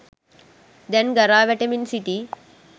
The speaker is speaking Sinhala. දැන් ගරා වැටෙමින් සිටී